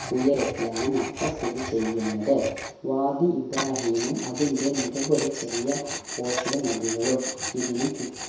ഉയരത്തിലാണ് മക്ക സ്ഥിതി ചെയ്യുന്നത് വാദി ഇബ്രാഹിമും അതിന്റെ നിരവധി ചെറിയ പോഷക നദികളും ഇതിന് ചുറ്റു